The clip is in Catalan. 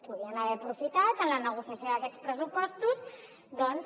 podien haver aprofitat en la negociació d’aquests pressupostos doncs